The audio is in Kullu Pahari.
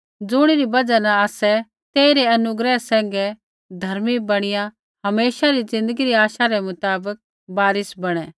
ज़ुणिरी बजहा न आसै तेई रै अनुग्रह सैंघै धर्मी बणीया हमेशा री ज़िन्दगी री आशा रै मुताबक वारिस बणै